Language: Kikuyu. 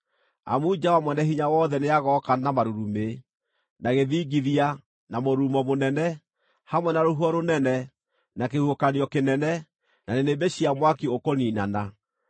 amu Jehova Mwene-Hinya-Wothe nĩagooka na marurumĩ, na gĩthingithia, na mũrurumo mũnene, hamwe na rũhuho rũnene, na kĩhuhũkanio kĩnene, na nĩnĩmbĩ cia mwaki ũkũniinana.